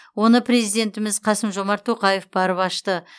оны президентіміз қасым жомарт тоқаев барып ашты